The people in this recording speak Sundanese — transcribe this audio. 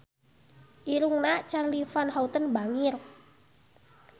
Irungna Charly Van Houten bangir